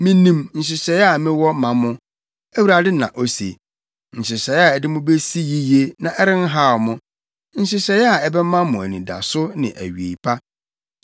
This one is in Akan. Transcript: Minim nhyehyɛe a mewɔ ma mo,” Awurade na ose, “Nhyehyɛe a ɛde mo besi yiye na ɛrenhaw mo, nhyehyɛe a ɛbɛma mo anidaso ne awiei pa.